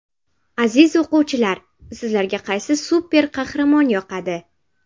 Aziz o‘quvchilar, sizlarga qaysi super-qahramon yoqadi?